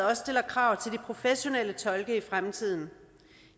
også stiller krav til de professionelle tolke i fremtiden